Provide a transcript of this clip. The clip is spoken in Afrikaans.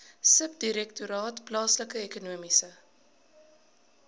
subdirektoraat plaaslike ekonomiese